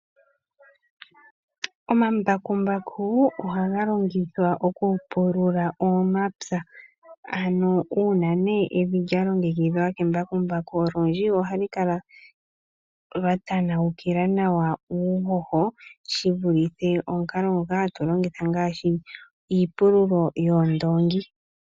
Omambakumbaku ohaga longithwa okupulula omapya, ano uuna evi lyalongekidhwa kembakumbaku, olundji ohalu kala lwa tanawukila nawa uuhoho, shivulithe omukalo ngoka hatu longitha, ngaashi iipululo yoondoongi.